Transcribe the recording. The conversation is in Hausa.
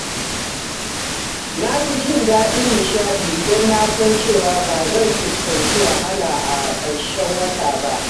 Na fi jin daɗin nishaɗi idan na san cewa ba zan fuskanci wahala a ƙarshen wata ba.